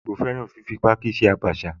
Àwọn ìgbò fẹ́ràn fífi páákí ṣe Abacha